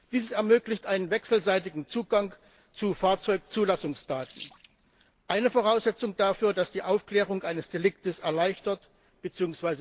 Dieses ermöglicht einen wechselseitigen Zugang zu Fahrzeugzulassungsdaten eine Voraussetzung dafür, dass die Aufklärung eines Deliktes erleichtert bzw.